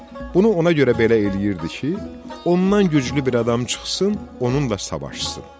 Bunu ona görə belə eləyirdi ki, ondan güclü bir adam çıxsın, onunla savaşsın.